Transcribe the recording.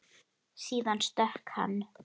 Síðan stökk hann.